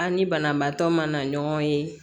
A ni banabaatɔ ma na ɲɔgɔn ye